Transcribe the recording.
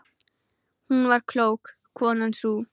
Hún var klók, konan sú.